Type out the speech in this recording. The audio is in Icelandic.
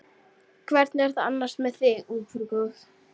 Hvernig er það annars með þig ungfrú góð.